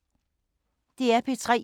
DR P3